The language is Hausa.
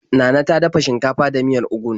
Nana ta dafa shinkafa da miyar ugu.